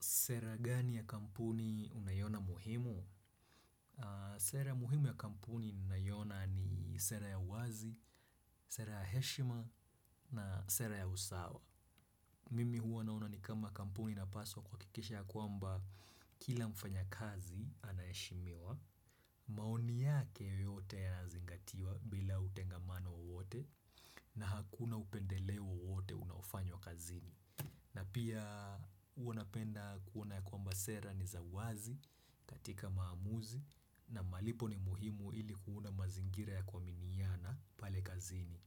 Sera gani ya kampuni unaiona muhimu? Sera muhimu ya kampuni ninaiona ni sera ya uwazi, sera ya heshima na sera ya usawa. Mimi huwa naona ni kama kampuni inapaswa kuhakikisha ya kwamba kila mfanyakazi anaheshimiwa. Maoni yake yote yanazingatiwa bila utengamano wowote na hakuna upendeleo wowote unaofanywa kazini. Na pia huwa napenda kuona ya kwamba sera ni za wazi katika maamuzi na malipo ni muhimu ili kuona mazingira ya kuaminiana pale kazini.